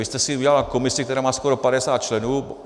Vy jste si udělala komisi, která má skoro 50 členů.